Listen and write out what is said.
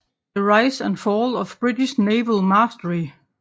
The Rise and Fall of British Naval Mastery